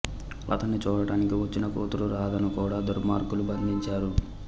అతన్ని చూడటానికి వచ్చిన కూతురు రాధను కూడా దుర్మార్గులు బంధించారు